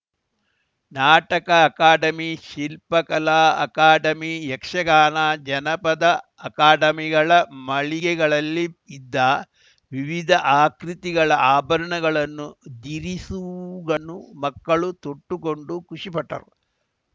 ನಾಟಕ ಅಕಾಡಮಿ ಶಿಲ್ಪ ಕಲಾ ಅಕಾಡಮಿ ಯಕ್ಷಗಾನ ಜಾನಪದ ಅಕಾಡಮಿಗಳ ಮಳಿಗೆಗಳಲ್ಲಿ ಇದ್ದ ವಿವಿಧ ಆಕೃತಿಗಳ ಆಭರಣಗಳನ್ನು ಧಿರಿಸುಗಳು ಮಕ್ಕಳು ತೊಟ್ಟುಕೊಂಡು ಖುಷಿ ಪಟ್ಟರು